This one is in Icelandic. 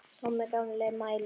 Tommi gamli mælir.